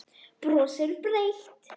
Brosir breitt.